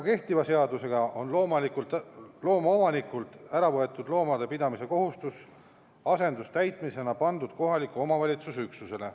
Kehtiva seadusega on looma omanikult äravõetud loomade pidamise kohustus asendustäitmisena pandud kohaliku omavalitsuse üksusele.